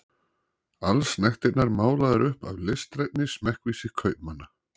Allsnægtirnar málaðar upp af listrænni smekkvísi kaupmanna.